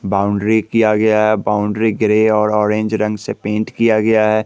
Boundary किया गया है बाउंड्री ग्रे और ऑरेंज रंग से पेंट किया गया है।